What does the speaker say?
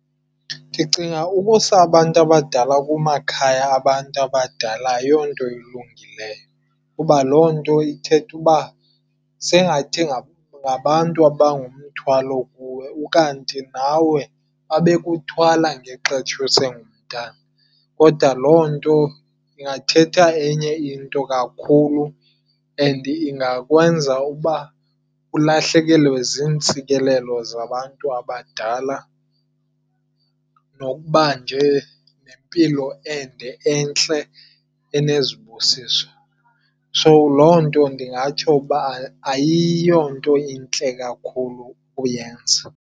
Ndicinga ukusa abantu abadala kumakhaya abantu abadala ayonto ilungileyo. Kuba loo nto ithetha uba sengathi ngabantu abangumthwalo kuwe ukanti nawe babe kuthwala ngexesha usengumntwana. Kodwa loo nto ingathetha enye into kakhulu and ingakwenza ukuba ulahlekelwe ziintsikelelo zabantu abadala nokuba nje nempilo ende entle enezibusiso. Loo nto ndingatsho uba ayiyonto intle kakhulu uyenza.